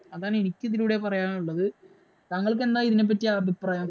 അതാണ് എനിക്ക് ഇതിലൂടെ പറയാനുള്ളത്. താങ്കൾക്ക് എന്താ ഇതിനെപ്പറ്റി അഭിപ്രായം?